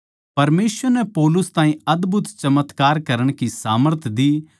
परमेसवर नै पौलुस ताहीं अदभुत चमत्कार करण की सामर्थ दी